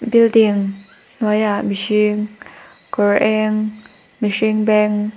building hnuaiah mihring kawr eng mihring beng--